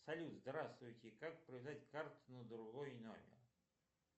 салют здравствуйте как привязать карту на другой номер